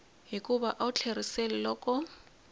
hikuva a wu tlheriseli loko